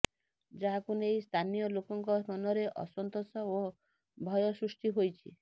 ଯାହାକୁ ନେଇ ସ୍ଥାନୀୟଲୋକଙ୍କ ମନରେ ଅସନ୍ତୋଷ ଓ ଭୟ ସୃଷ୍ଟି ହୋଇଛି